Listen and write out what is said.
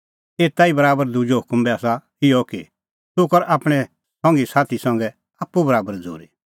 एता ई बराबर दुजअ हुकम बी आसा इहअ कि तूह कर आपणैं संघी साथी संघै आप्पू बराबर झ़ूरी